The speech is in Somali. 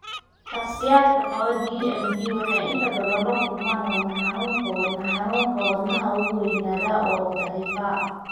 Shakhsiyaadka qaba DMD waxay inta badan la kulmaan wadna xanuunka wadna xanuunka (wadnaha wuu weynaadaa oo daciifaa).